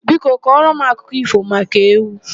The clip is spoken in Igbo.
Biko kọrọ m akụkọ ífò maka ewu.